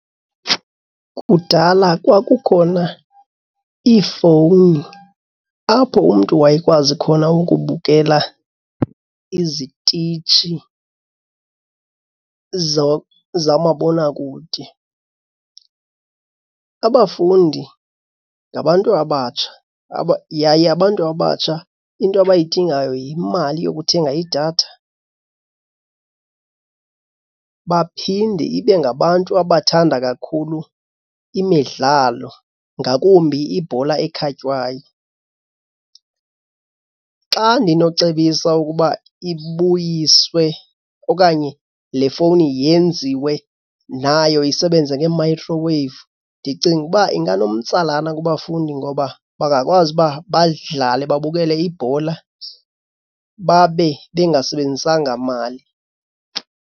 Kudala kwakukhona iifowuni apho umntu wayekwazi khona ukubukela izititshi zamabonakude. Abafundi ngabantu abatsha yaye abantu abatsha into abayidingayo yimali yokuthenga idatha, baphinde ibe ngabantu abathanda kakhulu imidlalo ngakumbi ibhola ekhatywayo. Xa ndinocebisa ukuba ibuyiswe okanye le fowuni yenziwe nayo isebenze ngee-microwave ndicinga ukuba inganomtsalane kubafundi ngoba bangakwazi uba badlale babukele ibhola babe bengasebenzisanga mali.